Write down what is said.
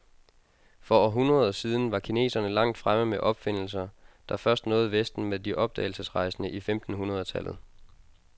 For århundreder siden var kineserne langt fremme med opfindelser, der først nåede vesten med de opdagelserejsende i femten hundred tallet.